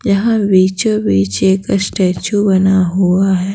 यहां बीचो-बीच एक स्टैचू बना हुआ है।